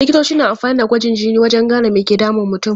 Likitoci na amfani da gwajin jini wajen gane me ke damun mutum.